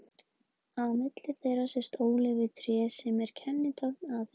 Á milli þeirra sést ólífutré sem er kennitákn Aþenu.